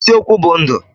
Eziokwu bu ndu.